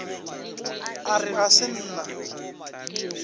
a re ga se nna